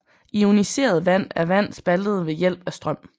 Ioniseret vand er vand spaltet ved hjælp af strøm